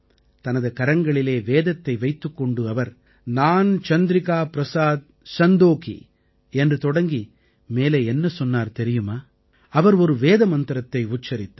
தனது கரங்களில் வேதத்தை வைத்துக் கொண்டு அவர் நான் சந்திரிகா பிரஸாத் சந்தோகீ என்று தொடங்கி மேலே என்ன சொன்னார் தெரியுமா அவர் ஒரு வேத மந்திரத்தை உச்சரித்தார்